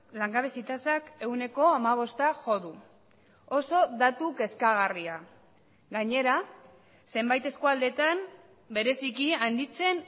langabezi tasak ehuneko hamabosta jo du oso datu kezkagarria gainera zenbait eskualdetan bereziki handitzen